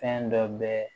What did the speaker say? Fɛn dɔ bɛ